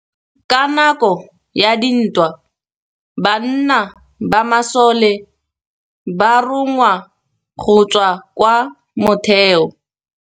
Ka nakô ya dintwa banna ba masole ba rongwa go tswa kwa mothêô.